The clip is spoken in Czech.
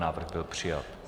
Návrh byl přijat.